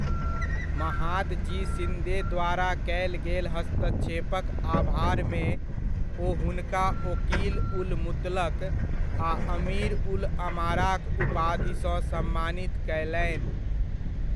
महादजी शिन्दे द्वारा कयल गेल हस्तक्षेपक आभारमे ओ हुनका ओकील उल मुतलक आ अमीर उल अमाराक उपाधिसँ सम्मानित कयलनि।